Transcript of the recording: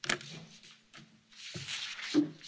Herr Präsident, liebe Kolleginnen und Kollegen!